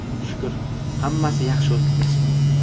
Shukr, hammasi yaxshi o‘tdi.